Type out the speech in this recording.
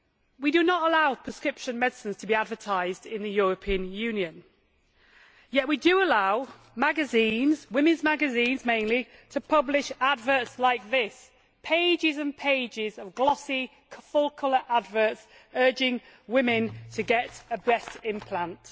We do not allow prescription medicines to be advertised in the European Union, yet we do allow magazines women's magazines mainly to publish adverts like this pages and pages of glossy, full colour adverts urging women to get breast implants.